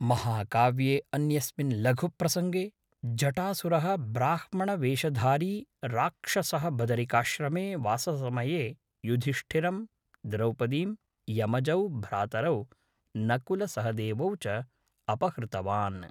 महाकाव्ये अन्यस्मिन् लघुप्रसङ्गे, जटासुरः ब्राह्मणवेषधारी राक्षसः बदरिकाश्रमे वाससमये युधिष्ठिरं, द्रौपदीं, यमजौ भ्रातरौ नकुलसहदेवौ च अपहृतवान्।